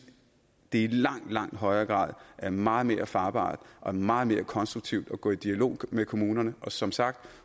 det i langt langt højere grad er meget mere farbart og meget mere konstruktivt at gå i dialog med kommunerne og som sagt